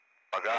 Paqa?